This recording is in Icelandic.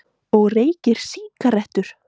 Og reykir sígarettur!